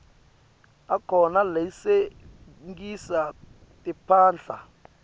akhona latsengisa timphahla